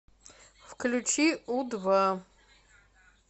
включи у два